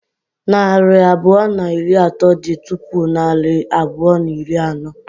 Narị abụọ na iri atọ dị tupu narị abụọ na iri anọ.